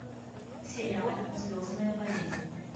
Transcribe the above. сериал звездная болезнь